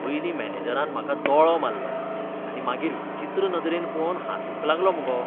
पयलीं मॅनेजरान म्हाका दोळो मारलो आनी मागीर विचित्र नदरेन पळोवन हांसूंक लागलो मुगो.